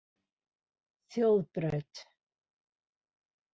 Þjóðbraut